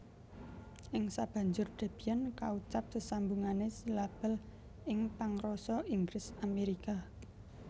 Ing sabanjur Debian kaucap sesambungané silabel ingpangrasa Inggris Amerika